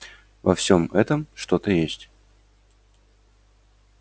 во всём этом что-то есть